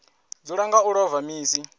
dzula nga u ḽova misi